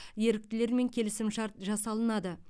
еріктілермен келісімшарт жасалынады